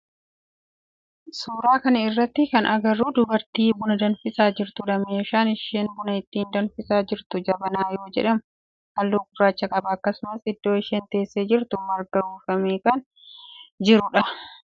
Suuraa kana irratti kan agarru dubartii buna danfisaa jirtudha. Meeshaan isheen buna ittiin danfisaa jirtu jabanaa yoo jedhamu halluu gurraacha qaba. Akkasumas iddoo isheen teessee jirtu margaan uwwifamee kan jirudha.